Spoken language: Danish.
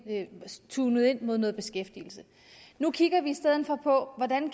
zoomet ind på noget beskæftigelse nu kigger vi i stedet for på hvordan